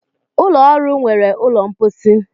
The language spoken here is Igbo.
Ulọ ọrụ nwere ụlọ mposi.